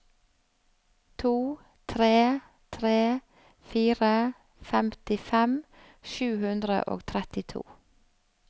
to tre tre fire femtifem sju hundre og trettito